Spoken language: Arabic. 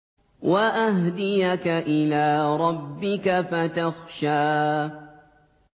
وَأَهْدِيَكَ إِلَىٰ رَبِّكَ فَتَخْشَىٰ